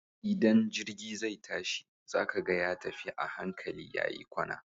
Idan jirgi zai tashi, za ka ga ya tafi a hankali ya yi kwana.